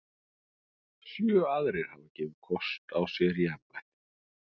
Sjö aðrir hafa gefið kost á sér í embættið.